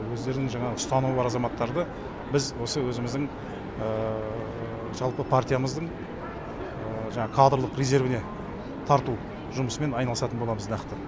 өздерінің жаңағы ұстанымы бар азаматтарды біз осы өзіміздің жалпы партиямыздың жаңағы кадрлық резервіне тарту жұмысымен айналысатын боламыз нақты